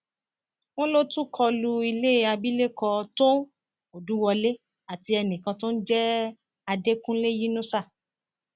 wọn lọ tún kọ lu ilé abilékọ tóun òdùwọlé àti ẹnìkan tó ń jẹ àdẹkùnlé yínusà